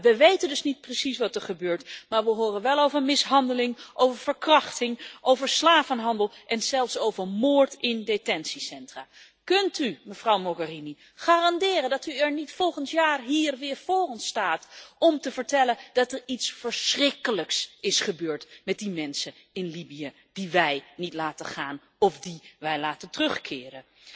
We weten dus niet precies wat er gebeurt, maar we horen wel over mishandeling, over verkrachting, over slavenhandel en zelfs over moord in detentiecentra. Kunt u, mevrouw Mogherini, garanderen dat u volgend jaar hier niet weer voor ons staat om te vertellen dat er iets verschrikkelijks is gebeurd met die mensen in Libië die wij niet laten gaan of die wij laten terugkeren?